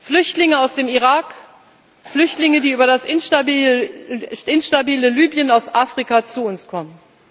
Flüchtlinge aus dem Irak, Flüchtlinge, die über das instabile Libyen aus Afrika zu uns kommen.